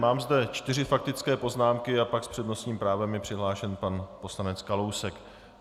Mám zde čtyři faktické poznámky a pak s přednostním právem je přihlášen pan poslanec Kalousek.